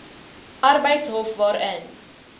arbeidshof hof waarin